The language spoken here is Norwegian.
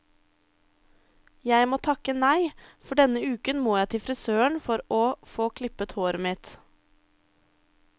Jeg må takke nei, for denne uken må jeg til frisøren for å få klippet håret mitt.